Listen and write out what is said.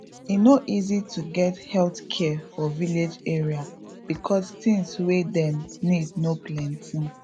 e no easy to get health care for village area because things wey dem need no plenty